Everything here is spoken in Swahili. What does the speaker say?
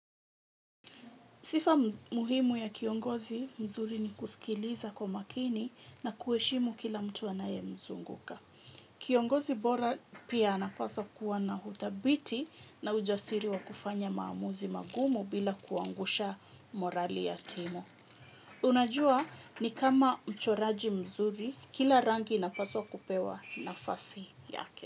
Sifa muhimu ya kiongozi mzuri ni kusikiliza kwa makini na kuheshimu kila mtu anaye mzunguka. Kiongozi bora pia anapaswa kuwa na uthabiti na ujasiri wa kufanya maamuzi magumu bila kuangusha morali ya timu. Unajua ni kama mchoraji mzuri kila rangi inapaswa kupewa nafasi yake.